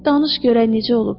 Danış görək necə olub.